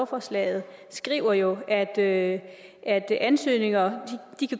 forslaget skriver jo at at ansøgninger